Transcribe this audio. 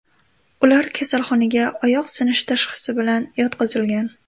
Ular kasalxonaga oyoq sinishi tashxisi bilan yotqizilgan.